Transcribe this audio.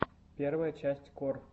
первая часть кор